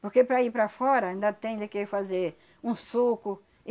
Porque para ir para fora ainda tem de que fazer um suco.